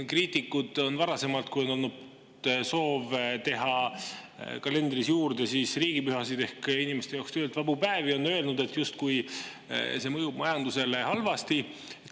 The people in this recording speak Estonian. Kriitikud on varasemalt öelnud, kui on olnud soov teha kalendrisse juurde riigipühasid ehk inimeste jaoks töölt vabu päevi, et justkui see mõjub majandusele halvasti.